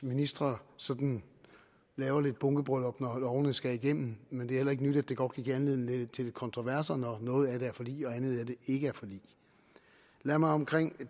ministre sådan laver lidt bunkebryllup når lovene skal igennem men det er heller ikke nyt at det godt kan give anledning til lidt kontroverser når noget af det er forlig og andet ikke er forlig lad mig om